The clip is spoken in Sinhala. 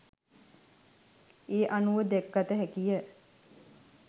ඒ අනුව දැක ගතහැකිය